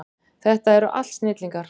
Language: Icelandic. Þetta eru allt snillingar.